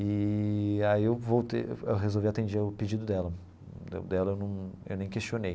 E aí eu voltei eu resolvi atender o pedido dela, dela eu num eu nem questionei.